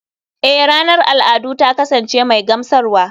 Eh ranar al'adu ta kasance mai gamsarwa.